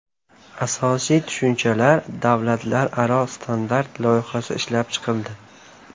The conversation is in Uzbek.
Asosiy tushunchalar” davlatlararo standart loyihasi ishlab chiqildi.